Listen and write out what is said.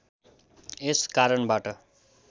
यस कारणबाट